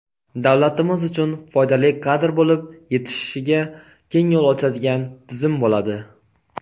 davlatimiz uchun foydali kadr bo‘lib yetishishiga keng yo‘l ochadigan tizim bo‘ladi.